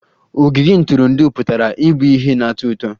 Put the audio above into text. Ogige ntụrụndụ pụtara ịbụ ihe na-atọ ụtọ